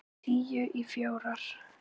Tíu í fjórar.